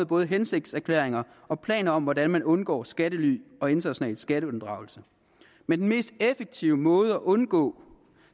både hensigtserklæringer og planer om hvordan man undgår skattely og international skatteunddragelse men den mest effektive måde at undgå